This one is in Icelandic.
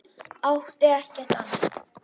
Átti ekkert annað.